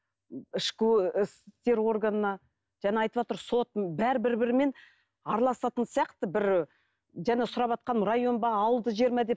ішкі істер органына жаңа айтыватыр бәрі бір бірімен араласатын сияқты бір жаңа сұраватқан район ба ауылды жер ма деп